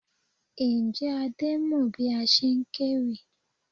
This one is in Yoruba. Ǹjẹ́ Adé mọ bí a ṣe ń kéwì?